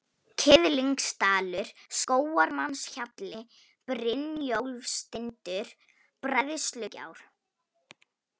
Kiðlingsdalur, Skógarmannshjalli, Brynjólfstindur, Bræðslugjár